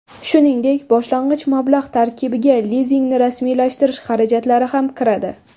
Shuningdek, boshlang‘ich mablag‘ tarkibiga lizingni rasmiylashtirish xarajatlari ham kiradi.